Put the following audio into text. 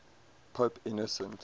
pope innocent